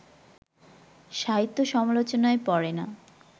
সাহিত্য সমালোচনায় পড়ে না